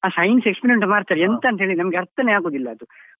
ಆ science experiment ಮಾಡ್ತಾರೆ ಎಂತ ಅಂತ ಹೇಳಿ ನಮ್ಗೆ ಅರ್ಥನೇ ಆಗುದಿಲ್ಲ ಅದು.